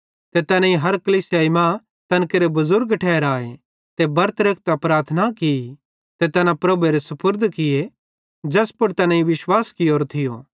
ते तैनेईं हर कलीसियाई मां तैन केरे बुज़ुर्ग ठहराए ते बरतां रेखतां प्रार्थना की ते तैना प्रभुएरे सुपुर्द किये ज़ैस पुड़ तैनेईं विश्वास कियोरो थियो